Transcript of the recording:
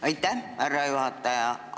Aitäh, härra juhataja!